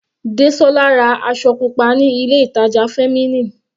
Desola ra aṣọ pupa ní ilé ìtàjà Feminine.